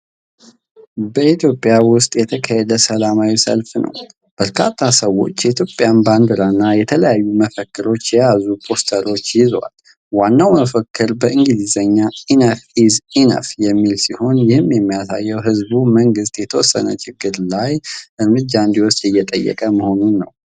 በኢትዮጵያ ውስጥ የተካሄደ ሰላማዊ ሰልፍ ነው። በርካታ ሰዎች የኢትዮጵያን ባንዲራ እና የተለያዩ መፈክሮችን የያዙ ፖስተሮች ይዘዋል። ዋናው መፈክር በእንግሊዝኛ “ኢነፍ ኢዝ ኢነፍ” የሚል ሲሆን፣ ይህ የሚያሳየው ህዝቡ መንግስት የተወሰነ ችግር ላይ እርምጃ እንዲወስድ እየጠየቀ መሆኑን ነው።